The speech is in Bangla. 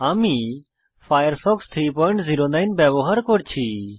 আমি ফায়ারফক্স 309 ব্যবহার করছি